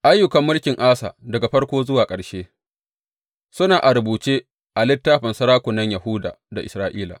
Ayyukan mulkin Asa, daga farko zuwa ƙarshe, suna a rubuce a littafin sarakunan Yahuda da Isra’ila.